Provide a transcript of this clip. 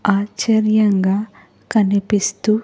ఆచర్యంగా కనిపిస్తూ.